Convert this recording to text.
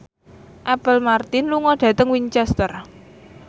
Apple Martin lunga dhateng Winchester